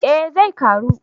Eh zai karu